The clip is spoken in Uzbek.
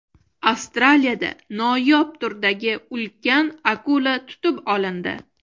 Avstraliyada noyob turdagi ulkan akula tutib olindi .